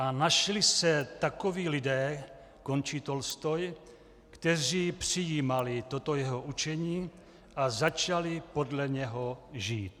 A našli se takoví lidé," končí Tolstoj, "kteří přijímali toto jeho učení a začali podle něho žít."